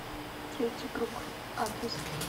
третий круг адрес